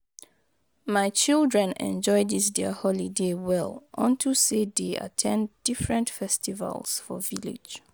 My children enjoy dis their holiday well unto say dey at ten d different festivals for village